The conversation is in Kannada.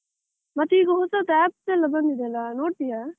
ಮತ್ತೆ ಈಗ ಹೊಸತ್ತು apps ಎಲ್ಲ ಬಂದಿದ್ಯಲ್ಲ ನೋಡ್ತೀಯ?